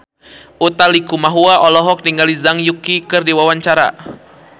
Utha Likumahua olohok ningali Zhang Yuqi keur diwawancara